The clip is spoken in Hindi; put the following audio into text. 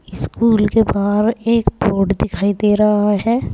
स्कूल के बाहर एक बोर्ड दिखाई दे रहा है।